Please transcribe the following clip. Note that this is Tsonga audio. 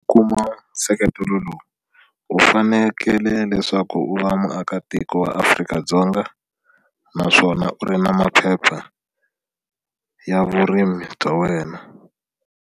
Kuma nseketelo lowu u fanekele leswaku u va muakatiko wa Afrika-Dzonga naswona u ri na maphepha ya vurimi bya wena.